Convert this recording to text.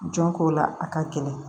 Jɔnko la a ka gɛlɛn